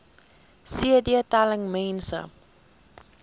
cd telling mense